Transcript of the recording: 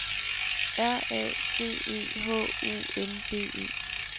R A C E H U N D E